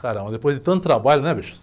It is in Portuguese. Caramba, depois de tanto trabalho, né, bicho?